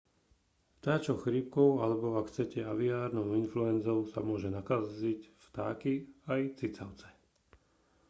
vtáčou chrípkou alebo ak chcete aviárnou influenzou sa môžu nakaziť vtáky aj cicavce